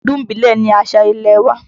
Ọdún ìbílẹ̀ ní àṣà ilẹ̀ wa.